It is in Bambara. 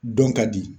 Dɔn ka di